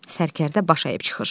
Sərkərdə baş əyib çıxır.